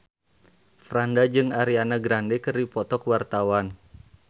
Franda jeung Ariana Grande keur dipoto ku wartawan